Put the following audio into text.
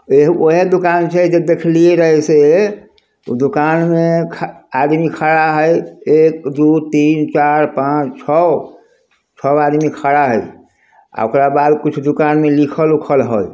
एह उहे दुकान छै जे देखलिए रहे से उ दुकान में ख-आदमी खड़ा हेय एकदोतीनचारपांच छ छ गो आदमी खड़ा हेय। आ ओकरा बाद कुछ दुकान में लिखल ऊखल हेय।